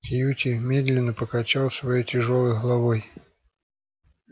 кьюти медленно покачал своей тяжёлой головой